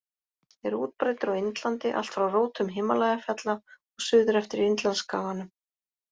Er útbreiddur á Indlandi allt frá rótum Himalajafjalla og suður eftir Indlandsskaganum.